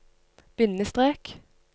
bindestrek